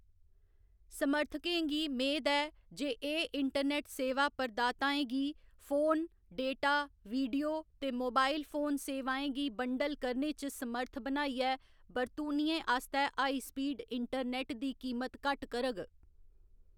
समर्थकें गी मेद ऐ जे एह्‌‌ इंटरनेट सेवा प्रदाताएं गी फोन, डेटा, वीडियो ते मोबाइल फोन सेवाएं गी बंडल करने च समर्थ बनाइयै बरतूनियें आस्तै हाई स्पीड इंटरनेट दी कीमत घट्ट करग।